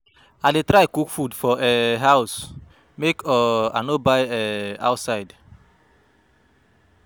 i dey try cook food for um house make um i no buy um outside.